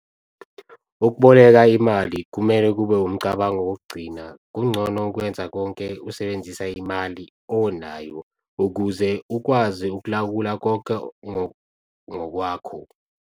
Ukuboleka imali kumele kube wumcabango wokugcina - kungcono ukwenza konke usebenzisa imali onayo ukuze ukwazi ukulawula konke ngokwakho.